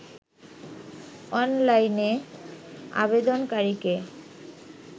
অনলাইনে আবেদনকারীকে